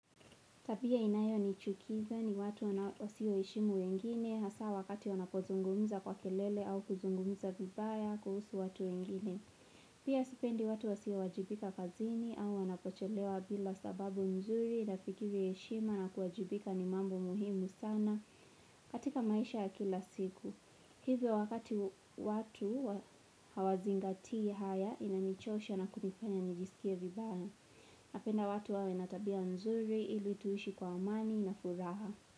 Tabia inayo nichukiza ni watu wasio heshimu wengine, hasa wakati wanapozungumza kwa kelele au kuzungumza vibaya kuhusu watu wengine. Pia sipendi watu wasio wajibika kazini au wanapocholewa bila sababu mzuri na fikiri heshima na kuwajibika ni mambo muhimu sana katika maisha ya kila siku. Hivyo wakati watu hawazingati haya inanichosha na kunipenye nijisikia vibaya. Napenda watu wawe na tabia nzuri ilituishi kwa amani na furaha.